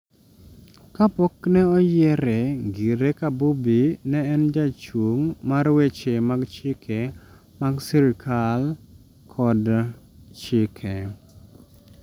Kapok ne oyiere ngire kabubi ne en jachung' mar weche mag chike mag sirikal koda chike